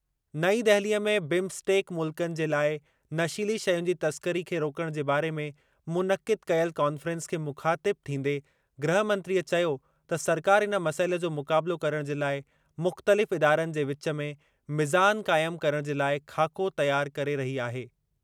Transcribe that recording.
नईं दहिलीअ में बिम्सटेक मुल्कनि जे लाइ नशीली शयुनि जी तस्करी खे रोकणु जे बारे में मुनक़िद कयलु कॉन्फ़्रेंस खे मुख़ातिब थींदे गृह मंत्रअ चयो त सरकार इन मसइले जो मुक़ाबलो करण जे लाइ मुख़्तलिफ़ इदारनि जे विच में मिज़ान क़ाइम करण जे लाइ ख़ाको तयार करे रही आहे।